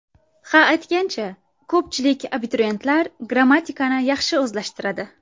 Ha, aytgancha, ko‘pchilik abituriyentlar grammatikani yaxshi o‘zlashtiradi.